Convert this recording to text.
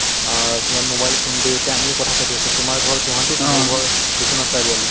অ তোমাৰ mobile phone দি এতিয়া আমিও কথা পাতি আছোঁ । তোমাৰ ঘৰ গুৱাহাটীত মোৰ ঘৰ বিশ্বনাথ চাৰিআলি ।